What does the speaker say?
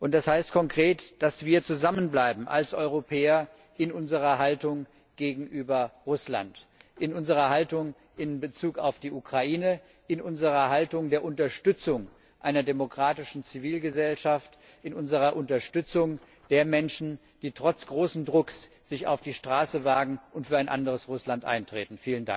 Das heißt konkret, dass wir zusammenbleiben als Europäer in unserer Haltung gegenüber Russland, in unserer Haltung in Bezug auf die Ukraine, in unserer Haltung der Unterstützung einer demokratischen Zivilgesellschaft, in unserer Unterstützung der Menschen, die sich trotz großen Drucks auf die Straße wagen und für ein anderes Russland eintreten.